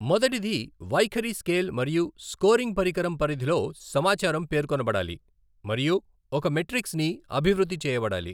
మొదటిది వైఖరి స్కేల్ మరియు స్కోరింగ్ పరికరం పరిధిలో సమాచారం పేర్కొనబడాలి మరియు ఒక మెట్రిక్స్ ని అభివృద్ధి చేయబడాలి.